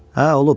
Hə, olub.